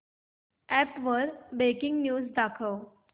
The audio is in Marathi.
अॅप वर ब्रेकिंग न्यूज दाखव